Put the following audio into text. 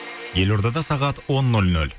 елордада сағат он нөл нөл